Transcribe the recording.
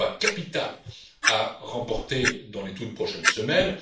C'est un combat capital à remporter dans les toutes prochaines semaines.